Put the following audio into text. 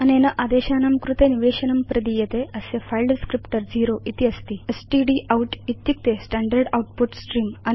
अनेन आदेशानां कृते निवेशनं प्रदीयते अस्य फिले डिस्क्रिप्टर ० इति अस्ति स्टडाउट इत्युक्ते स्टैण्डर्ड् आउटपुट स्त्रेऽं